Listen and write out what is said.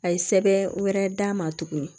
A ye sɛbɛn wɛrɛ d'a ma tuguni